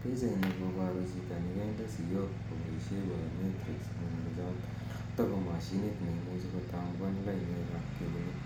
Pichaini koparu chito nekende siiok kopaishe biometrics anan chotok ko mashinit neimuchi kotambuan lainwek ap keunek.